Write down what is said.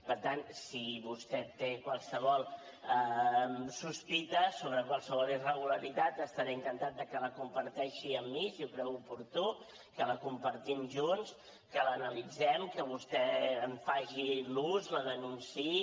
per tant si vostè té qualsevol sospita sobre qualsevol irregularitat estaré encantat de que la comparteixi amb mi si ho creu oportú que la compartim junts que l’analitzem que vostè en faci l’ús la denunciï